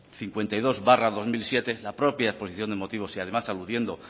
cincuenta y dos barra dos mil siete la propia exposición de motivos y además aludiendo